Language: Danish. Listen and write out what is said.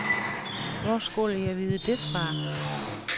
Hvor skulle jeg vide det fra?